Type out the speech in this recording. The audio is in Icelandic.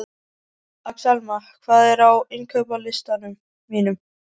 Axelma, hvað er á innkaupalistanum mínum?